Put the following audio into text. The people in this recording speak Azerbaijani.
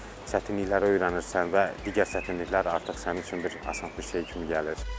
Çətinlikləri öyrənirsən və digər çətinliklər artıq sənin üçün bir asan bir şey kimi gəlir.